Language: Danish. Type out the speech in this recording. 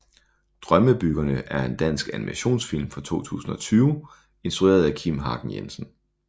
Drømmebyggerne er en dansk animationsfilm fra 2020 instrueret af Kim Hagen Jensen